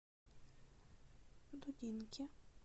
дудинке